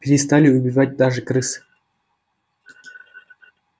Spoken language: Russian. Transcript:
перестали убивать даже крыс